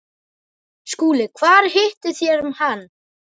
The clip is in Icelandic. SKÚLI: Hvar hittuð þér hann?